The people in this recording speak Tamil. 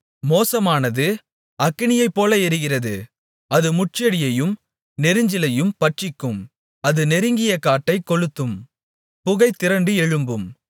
மோசமானது அக்கினியைப்போல எரிகிறது அது முட்செடியையும் நெரிஞ்சிலையும் பட்சிக்கும் அது நெருங்கிய காட்டைக் கொளுத்தும் புகை திரண்டு எழும்பும்